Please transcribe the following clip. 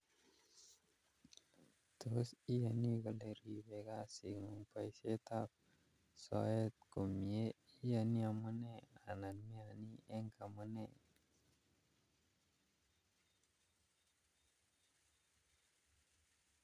Tos iyani kole ripei kisiet ngung boisietab soet komnyee, iyanii amune anan meyani eng amune